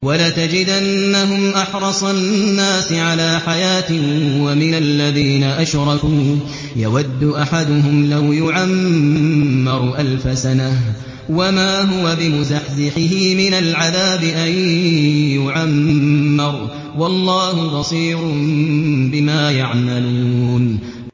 وَلَتَجِدَنَّهُمْ أَحْرَصَ النَّاسِ عَلَىٰ حَيَاةٍ وَمِنَ الَّذِينَ أَشْرَكُوا ۚ يَوَدُّ أَحَدُهُمْ لَوْ يُعَمَّرُ أَلْفَ سَنَةٍ وَمَا هُوَ بِمُزَحْزِحِهِ مِنَ الْعَذَابِ أَن يُعَمَّرَ ۗ وَاللَّهُ بَصِيرٌ بِمَا يَعْمَلُونَ